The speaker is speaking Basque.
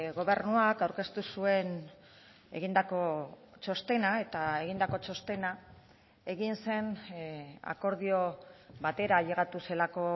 gobernuak aurkeztu zuen egindako txostena eta egindako txostena egin zen akordio batera ailegatu zelako